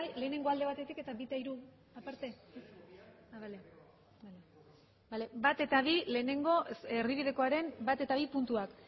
alde batetik eta bi eta tres aparte bale bat eta bi lehenengo erdibidekoaren bat eta bi puntuak